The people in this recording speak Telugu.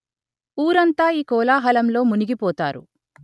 ఊరంతా ఈ కోలా హలంలో మునిగి పోతారు